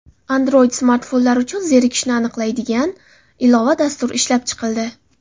Android-smartfonlar uchun zerikishni aniqlaydigan ilova-dastur ishlab chiqildi.